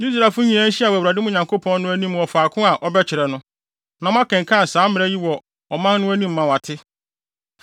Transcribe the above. Israelfo nyinaa nhyia wɔ Awurade mo Nyankopɔn no, anim wɔ faako a ɔbɛkyerɛ no, na moakenkan saa mmara yi wɔ wɔn anim ama wɔate.